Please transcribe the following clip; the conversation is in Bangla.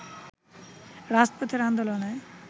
রাজপথের আন্দোলনে